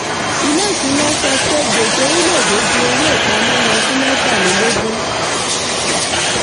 ilé-ìṣúná sọ pé gbèsè orílẹ̀-èdè ju owó ìpamọ́ lọ fún mẹ́tàlélógún.